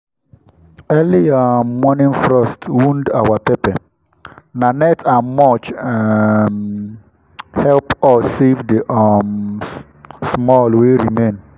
early um morning frost wound our pepper—na net and mulch um help us save the um small wey remain.